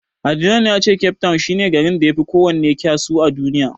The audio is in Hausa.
Adnan ya ce Cape town shi ne garin da yafi kowanne kysu a Duniya.